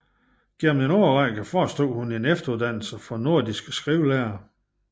Gennem en årrække forestod hun en efteruddannelse for nordiske skrivelærere